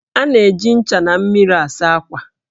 A na-eji ncha na mmiri asa ákwà